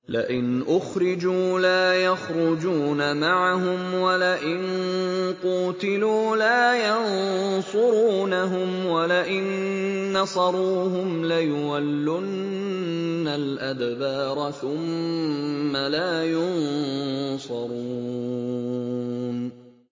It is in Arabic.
لَئِنْ أُخْرِجُوا لَا يَخْرُجُونَ مَعَهُمْ وَلَئِن قُوتِلُوا لَا يَنصُرُونَهُمْ وَلَئِن نَّصَرُوهُمْ لَيُوَلُّنَّ الْأَدْبَارَ ثُمَّ لَا يُنصَرُونَ